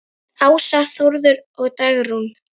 Ása, Þórður og Dagrún.